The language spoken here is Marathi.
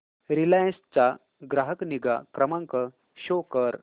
रिलायन्स चा ग्राहक निगा क्रमांक शो कर